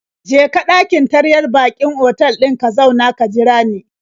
Je ka ɗakin taryar baƙin otal ɗin ka zauna ka jira ni.